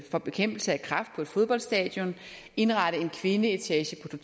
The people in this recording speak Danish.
for bekæmpelse af kræft på et fodboldstadion indrette en kvindeetage på